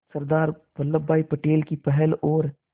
सरदार वल्लभ भाई पटेल की पहल और